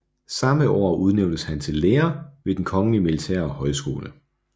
Samme år udnævntes han til lærer ved Den kongelige militære Højskole